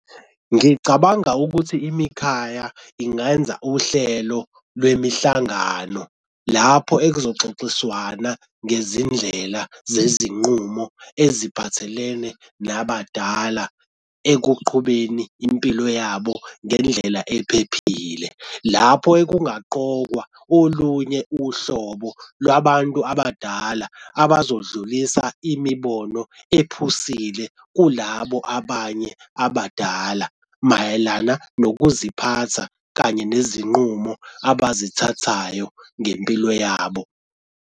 Ngicabanga ukuthi imikhaya ingenza uhlelo lwemihlangano lapho ekuzoxoxiswana ngezindlela zezinqumo eziphathelene nabadala ekuqhubeni impilo yabo ngendlela ephephile. Lapho ekungaqokwa olunye uhlobo lwabantu abadala abazodlulisa imibono ephusile kulabo abanye abadala mayelana nokuziphatha kanye nezinqumo abazithathayo ngempilo yabo.